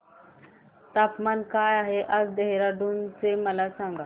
तापमान काय आहे आज देहराडून चे मला सांगा